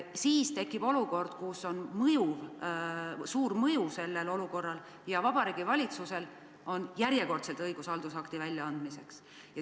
Kui sellel olukorral on suur mõju, siis on Vabariigi Valitsusel järjekordselt õigus haldusakt välja anda.